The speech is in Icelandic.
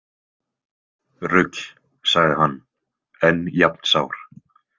Rugl, sagði hann, enn jafn sár.